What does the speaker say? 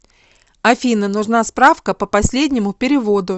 афина нужна справка по последнему переводу